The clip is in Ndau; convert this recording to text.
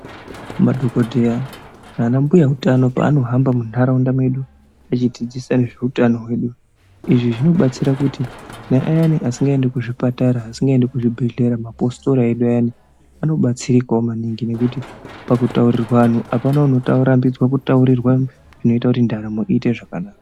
Madhokodheya ana mbuya hutano panohamba mundaraunda vedu vachidzidzisa nezvehutano izvi zvinobatsira kuti ayani asingaendi kuzvipatara vasingaendi kuzvibhedhlera mapositori edu anobatsirikanawo maningi ngekuti pakutaurirwana apana anotaurirwa zvinoita kuti ndaramo iite zvakanaka.